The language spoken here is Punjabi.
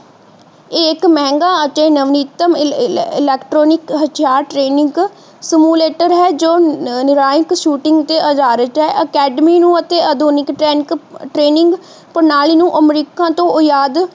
ਇਹ ਇੱਕ ਮਹਿੰਗਾ ਅਤੇ ਨਵੀਨਤਮ ਇਲੈਕਟ੍ਰਾਨਿਕ ਹਥਿਆਰ training stimulator ਹੈ ਜੋ ਨਾਰਾਇਨਕ shooting ਤੇ ਅਧਾਰਿਤ ਹੈ academy ਨੂੰ ਆਧੁਨਿਕ training ਪ੍ਰਣਾਲੀ ਨੂੰ ਅਮਰੀਕਾ ਤੋਂ ਓਹਯਾਦ